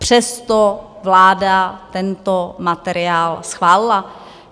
Přesto vláda tento materiál schválila.